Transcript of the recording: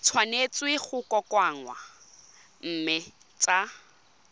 tshwanetse go kokoanngwa mme tsa